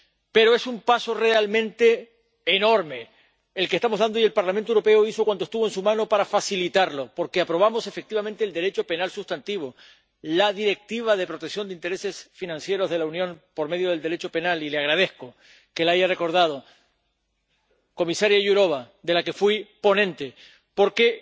Pero es un paso realmente enorme el que estamos dando, y el Parlamento Europeo hizo cuanto estuvo en su mano para facilitarlo, porque aprobamos efectivamente el Derecho penal sustantivo, la Directiva relativa a la protección de los intereses financieros de la Unión por medio del Derecho penal —y le agradezco que lo haya recordado, comisaria Jourová, fui ponente del informe—, ya que